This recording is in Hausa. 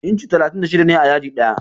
Inci talatin da shida ne a yadi ɗaya.